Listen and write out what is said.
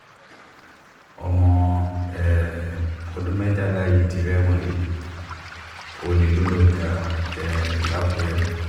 ọmọ um ọdún mẹ́tàlá yìí ti rẹ́wọ̀n he ọlẹ̀ ló lọ́ọ́ ja um làkùrẹ́